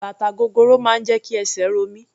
Bàtà gogoro máa ń jẹ́ kí esè ro mí.